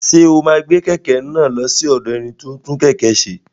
Ṣé o máa gbé kẹ̀kẹ́ náà lọ sí ọ̀dọ̀ ẹni tí ó ń tún kẹ̀kẹ́ ṣe?